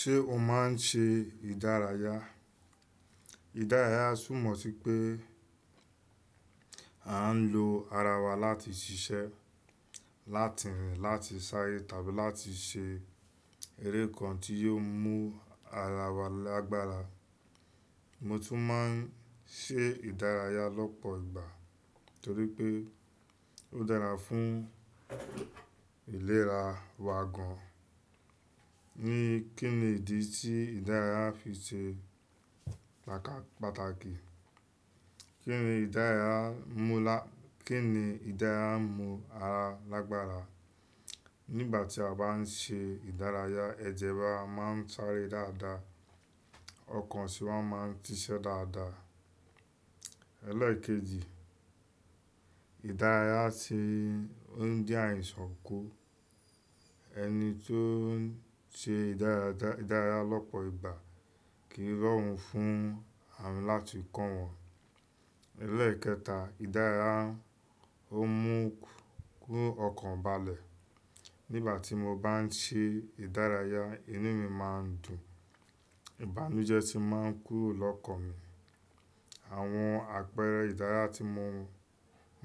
Ṣé o máa ń ṣe ìdárayá? Ìdárayá túmọ̀ sí pé a ń lo ara wa láti ṣiṣẹ́, láti rìn, láti sáré tàbí láti ṣe eré kan tí yóò mú ara wa lágbára. Mo tún máa ń ṣe ìdárayá lọ́pọ̀ ìgbà torí pé ó dára fún ìlera wa gan. Ni, kínni ìdí tí ìdárayá fi ṣe pàtàkì? Kí ni ìdárayá mú lá-- kín ni ìdárayá mú ara lágbára? Nígbà tí a bá ń ṣe ìdárayá, ẹ̀jẹ̀ wa máa ń sáré dáadáa, ọkàn sì máa ń síṣẹ́ dáadáa. Ẹlẹ́ẹ̀kejì, ìdárayá sì ń dín àìsàn kù. Ẹni tó ń ṣe ìdárayá, ìdárayá lọ́pọ̀ ìgbà kì í rọrùn fún àrùn láti kàn wọ́n. Ẹlẹ́ẹ̀kẹta, ìdárayá ó mú, kú ọkàn balẹ̀. Nígbà tí mo bá ń ṣe ìdárayá, inú mi máa ń dùn, ìbànújẹ́ sì máa ń kúrò lọ́kàn mi. Àwọn àpẹẹrẹ ìdárayá tí mo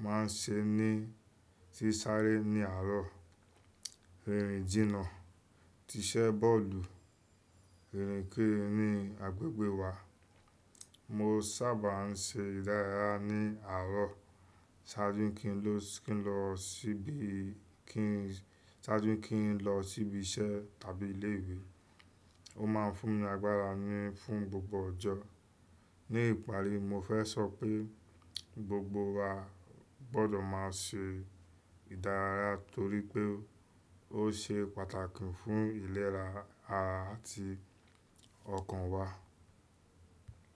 máa ń ṣe ní, tí sáré ní àárọ̀, rírin jìnnà, tíṣẹ́ bọ́ọ̀lù, rírin kéré ní àgbègbè wa. Mo sábà ń ṣe ìdárayá ní àárọ̀ ṣáájú kí n lọ, kí n lọ ṣíbí, kí n, ṣáájú kí n lọ ṣíbí iṣẹ́ tàbí ilé ìwé. Ó máa ń fún mi agbára ní, fún gbogbo ọjọ́. Ní ìparí, mo fẹ́ sọ pé gbogbo wa gbọdọ̀ máa ṣe ìdárayá torí pé ó ṣe pàtàkì fún ìlera ara àti ọkàn wa.